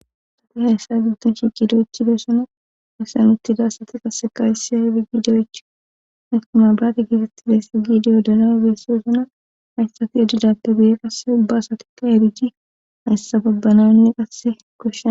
asati hayssa gibddon shiqidoychi beessana asean uttida asati qaseka hysi ha hidi giidaych istimabiraati gifettidessa giidiyo danae beesseozuna hayssati edidappe beye qasse ubba asatikka eriji hayssa babbananne qasse koshena